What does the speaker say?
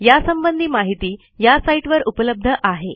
यासंबंधी माहिती या साईटवर उपलब्ध आहे